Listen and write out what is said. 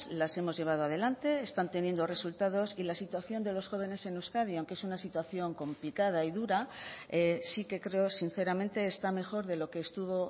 las hemos llevado adelante están teniendo resultados y la situación de los jóvenes en euskadi aunque es una situación complicada y dura sí que creo sinceramente está mejor de lo que estuvo